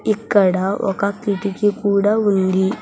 ఇక్కడ ఒక కిటికీ కూడా ఉంది.